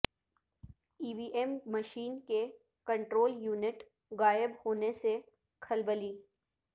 ای V M machine کے control unit غائب ہونے سے کھلبلی